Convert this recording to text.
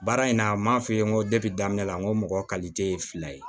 Baara in na n m'a f'i ye n ko daminɛ la n ko mɔgɔ kalite ye fila ye